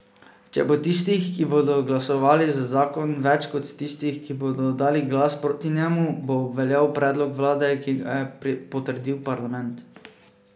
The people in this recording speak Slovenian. Če bo tistih, ki bodo glasovali za zakon, več kot tistih, ki bodo oddali glas proti njemu, bo obveljal predlog vlade, ki ga je potrdil parlament.